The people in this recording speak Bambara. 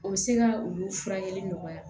O bɛ se ka olu furakɛli nɔgɔya